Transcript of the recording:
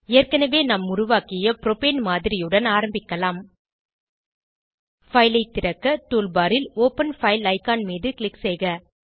ஏற்கனவே நாம் உருவாக்கிய ப்ரோபேன் மாதிரியுடன் ஆரம்பிக்கலாம் பைல் ஐ திறக்க டூல் பார் ல் ஒப்பன் பைல் ஐகான் மீது க்ளிக் செய்க